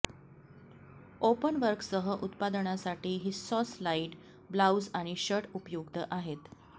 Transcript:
ओपनवर्कसह उत्पादनासाठी व्हिस्सॉस light blouse आणि शर्ट उपयुक्त आहेत